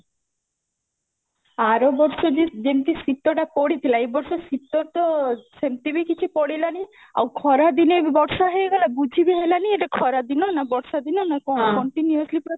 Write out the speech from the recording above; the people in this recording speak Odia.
ଆର ବର୍ଷ ଯି ଯେମତି ଶିତଟା ପଡିଥିଲା ଏ ବର୍ଷ ଶିତ ତ ସେମତି ବି କିଛି ପଡିଲାନି ଆଉ ଖରାଦିନେ ବି ବର୍ଷା ହେଇଗଲା ବୁଝିବି ହେଲାନି ଏଟା ଖରାଦିନ ନା ବର୍ଷାଦିନ ନା କଣ continuously ପୁରା